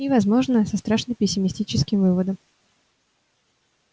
и возможно со страшно пессимистическим выводом